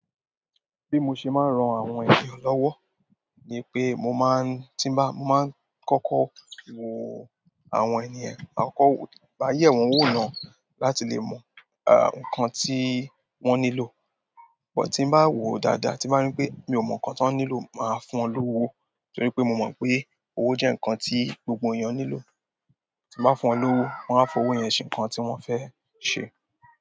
Bí mo ṣe máa ń ran àwọn ènìyàn lọ́wọ́ ni pé mo máa ń, tí n bá, mo máa ń kọ́kọ́ wo àwọn ènìyàn, máa kọ́kọ́ wò, bá yẹ̀ wọ́n wò náà láti lè mọ, à, nǹkan tí wọ́n nílò. But ti ń bá wò dáadáa tí n bá ri pé mí o mọ nkán tán nílò máa fún wọn lowó torípé mo mọ pé owó jẹ nkán gbogbo èèyàn nílò ti bá fún wọn lówó, wọ́n á fowó yẹn ṣe nǹkan tí wọ́n fẹ́ ṣe.